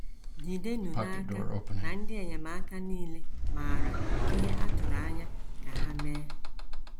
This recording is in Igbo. ❑ Jidenụ n’aka na ndị enyemaka nile maara ihe a tụrụ anya ka ha mee